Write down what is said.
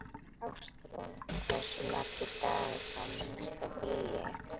Ástrún, hversu margir dagar fram að næsta fríi?